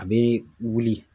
A be wuli.